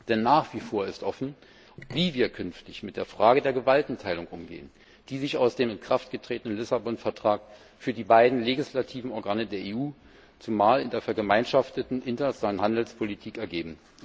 Denn nach wie vor ist offen, wie wir künftig mit der Frage der Gewaltenteilung umgehen, die sich aus dem in Kraft getretenen Vertrag von Lissabon für die beiden legislativen Organe der EU, zumal in der vergemeinschafteten internationalen Handelspolitik, ergibt.